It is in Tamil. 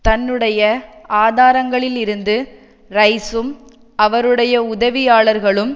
தன்னுடைய ஆதாரங்களில் இருந்து ரைசும் அவருடைய உதவியாளர்களும்